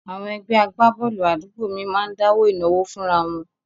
Àwọn ẹgbẹ́ agbábọ́ọ̀lù àdúgbò mi máa ń dáwó ìnáwó fúnra wọn